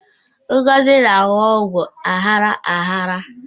Ngozi na-aṅụ ọgwụ aghara aghara